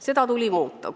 Seda tuleb muuta.